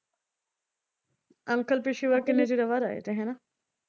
Uncle ਪਿਛਲੀ ਵਾਰ ਕਿੰਨੀ ਦਿਨਾਂ ਬਾਅਦ ਆਏ ਤੇ ਹਨਾ।